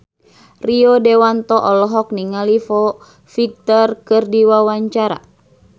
Rio Dewanto olohok ningali Foo Fighter keur diwawancara